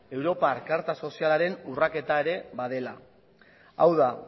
europako karta sozialaren urraketa ere badela hau da